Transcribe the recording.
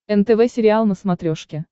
нтв сериал на смотрешке